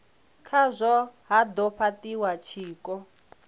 khazwo ha do fhatiwa tshiko